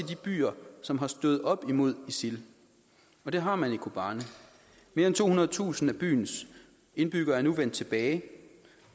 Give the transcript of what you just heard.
de byer som har stået op imod isil det har man i kobane mere end tohundredetusind af byens indbyggere er nu vendt tilbage